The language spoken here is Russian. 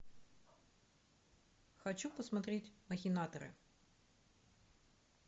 хочу посмотреть махинаторы